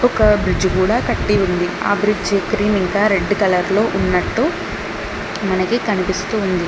ఒక బ్రిడ్జ్ కూడా కట్టి ఉంది ఆ బ్రిడ్జ్ క్రీమ్ ఇంకా రెడ్ కలర్ లో ఉన్నట్టు మనకి కనిపిస్తూ ఉంది.